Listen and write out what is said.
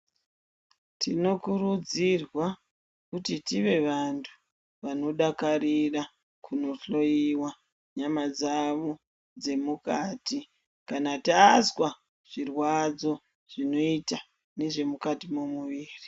Tinokurudzirwa kuti tive vanhu vanodakarira kunohloyiwa nyama dzawo dzemukati kana tazwa zvirwadzo zvinoita nezvimukati mwemuviri.